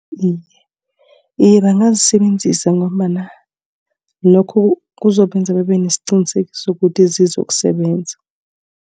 Iye bangazisebenzisa ngombana lokho kuzobenza babe nesiqiniseko sokuthi zizokusebenza.